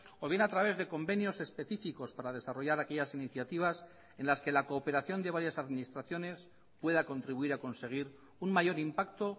o bien a través de convenios específicos para desarrollar aquellas iniciativas en las que la cooperación de varias administraciones pueda contribuir a conseguir un mayor impacto